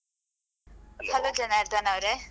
Hello Janardan ಅವ್ರೇ.